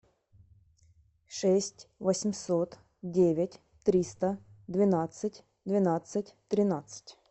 шесть восемьсот девять триста двенадцать двенадцать тринадцать